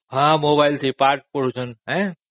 ହଁ ମୋବାଇଲରେ ପାଠ ପଢୁଛନ୍ତି